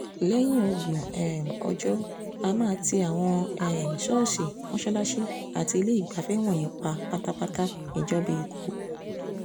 lẹ́yìn ọgbọ̀n um ọjọ́ á máa ti àwọn um ṣọ́ọ̀ṣì mọ́ṣáláṣí àti iléegbafẹ́ wọ̀nyí pa pátápátá ìjọba ẹ̀kọ́ọ́